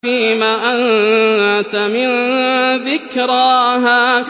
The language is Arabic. فِيمَ أَنتَ مِن ذِكْرَاهَا